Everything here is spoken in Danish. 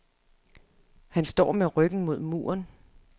Han står med ryggen mod muren.